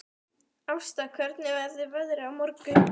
Ásta, hvernig verður veðrið á morgun?